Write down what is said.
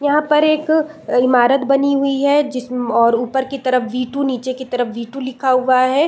यहाँ पर एक ईमारत बनी हुई है जिस्म और ऊपर की तरफ बी टू नीचे की तरफ जी टू लिखा हुआ है।